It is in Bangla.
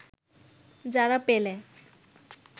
যারা পেলে